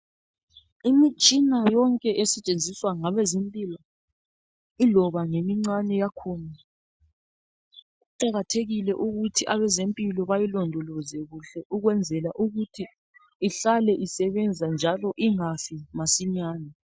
imitshina yonke esetshenziswa ngabezempilo iloba ngemincane yakhona kuqakathekile ukuthi abezempilo bayilondoloze kuhle ukwenzela ukuthi ihlale isebenza njalo ingafi masinyane